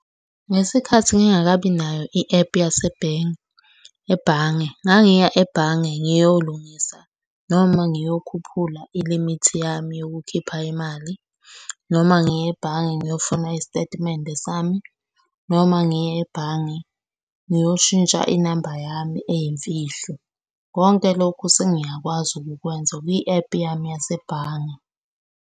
Ngesikhathi ngingakabi nayo i-ephu yasebhenki ebhange, ngangiya ebhange ngiyolungisa noma ngiyokhuphula ilimithi yami yokukhipha imali, noma ngiye ebhange ngiyofuna isitatimende sami, noma ngiye ebhange ngiyoshintsha inamba yami eyimfihlo. Konke lokho sengiyakwazi ukukwenza kwi-ephu yami yasebhange.